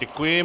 Děkuji.